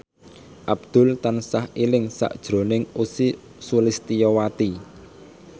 Abdul tansah eling sakjroning Ussy Sulistyawati